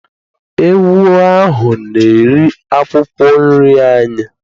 Ewu ahụ na-eri akwụkwọ nri anyị.